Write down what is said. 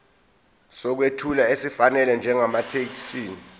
sokwethula esifanele njengamathekisthi